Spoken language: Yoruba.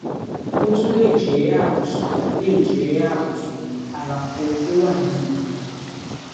ó tún lè jẹ àbùsùn lè jẹ àbùsùn àlàfo tó wà nínú ara